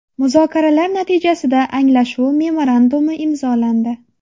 Muzokaralar natijasida anglashuv memorandumi imzolandi.